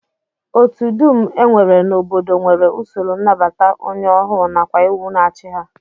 Otu dum e nwere n'obodo nwere usoro nnabata onye ọhụụ nakwa iwu na-achị ha